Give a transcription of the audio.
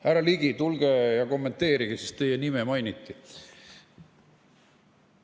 Härra Ligi, tulge ja kommenteerige, sest teie nime mainiti!